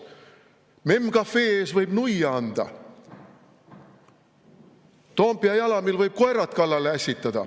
MEM Cafe ees võib nuia anda, Toompea jalamil võib koerad kallale ässitada ...